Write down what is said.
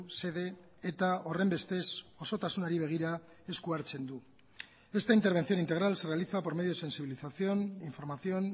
xede eta horrenbestez osotasunari begira esku hartzen du esta intervención integral se realiza por medio de sensibilización información